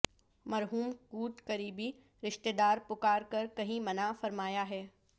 مرحوم کوڈ قریبی رشتہ دار پکار کر کہیں منع فرمایا ہے